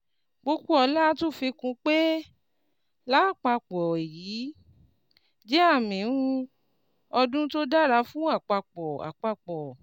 Popoola tún fi kún un pé: "Láàpapọ̀, èyí jẹ́ àmì um ọdún tó dára fún Àpapọ̀ Àpapọ̀